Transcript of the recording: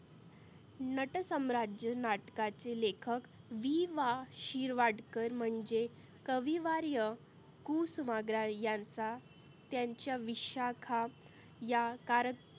नटसम्राज्य नाटकाचे लेखक वि वा शिरवाढकर म्हणजे कविवार्य कुसुमाग्रज यांचा त्याच्या विशाखा या कार